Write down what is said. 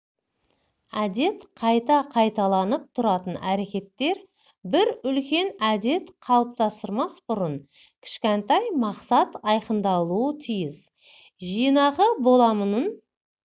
әдет қайта қайталанып тұратын әрекеттер бір үлкен әдет қалыптастырмас бұрын кішкентай мақсат айқындалуы тиіс жинақы боламынның